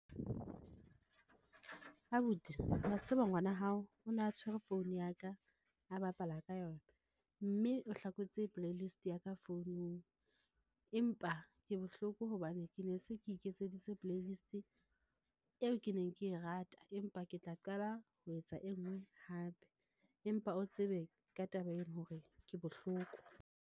Abuti wa tseba ngwana hao o ne a tshwere phone ya ka a bapala ka yona mme o hlakotse play list ya ka founung. Empa ke bohloko hobane ke ne se ke iketseditse playlist eo ke neng ke e rata, empa ke tla qala ho etsa e nngwe hape, empa o tsebe ka taba ena hore ke bohloko.